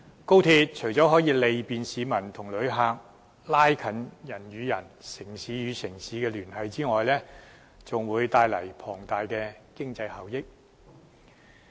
高鐵除了可利便市民和旅客，加強人與人、城市與城市之間的聯繫外，更會帶來龐大的經濟效益。